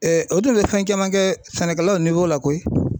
o tun bɛ fɛn caman kɛ sɛnɛkɛlaw la koyi.